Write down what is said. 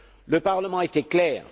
Le Parlement a été clair.